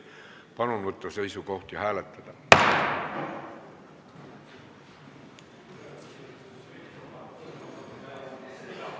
Palun võtta seisukoht ja hääletada!